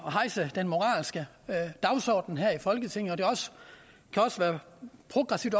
hejse den moralske dagsorden her i folketinget og det kan også være progressivt